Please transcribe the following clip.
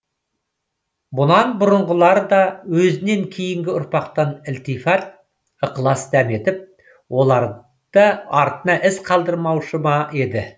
бұнан бұрынғылар да өзінен кейінгі ұрпақтан ілтифат ықылас дәметіп олар да артына із қалдырмаушы ма еді